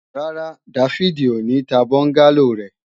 Rárá, Dáfídì ò ní ta bọ́ńgálò rẹ̀